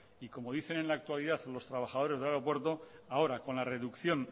como dicen en la actualidad los trabajadores del aeropuerto ahora con la reducción